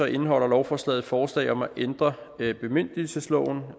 indeholder lovforslaget forslag om at ændre bemyndigelsesloven